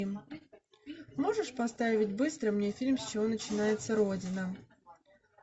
можешь поставить быстро мне фильм с чего начинается родина